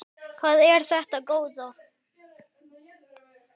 Hvað er þetta góða!